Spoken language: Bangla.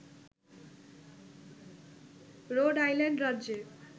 রোড আইল্যান্ড রাজ্যে